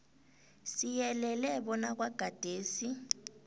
siyelele bona kwagadesi